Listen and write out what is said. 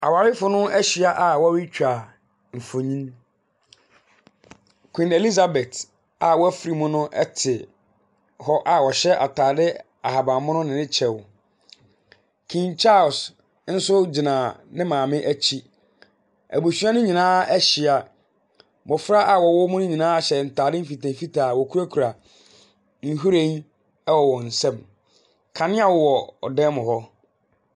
Awarefo no ahyia a wɔretwa mfonin. Queen Elizabeth a wafiri mu no te hɔ a ɔhyɛ atade ahaban mono ne ne kyɛw. King Charles nso gyina ne maame akyi. Abusua no nyinaa ahyia. Mmɔfra a wɔwɔ mu no nyinaa hyɛ ntade mfitamfitaa a wɔkurakura nhwiren wɔ wɔn nsam. Kanea wɔ dan mu hɔ.